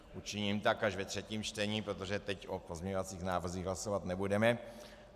Učiním tak až ve třetím čtení, protože teď o pozměňovacích návrzích hlasovat nebudeme.